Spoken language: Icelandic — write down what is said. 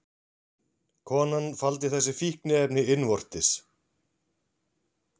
Konan faldi þessi fíkniefni innvortis